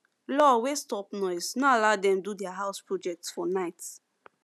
law wey stop noise no allow them do their house project for night